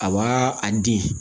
A b'a a di